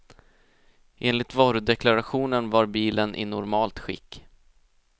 Enligt varudeklarationen var bilen i normalt skick.